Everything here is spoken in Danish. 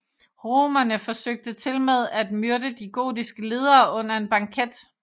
Romerne forsøgte tilmed at myrde de gotiske ledere under en banket